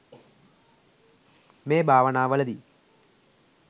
මේ භාවනාවලදී